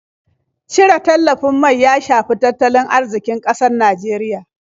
Cire tallafin mai ya shafi tattalin arziƙin ƙasar Nijeriya.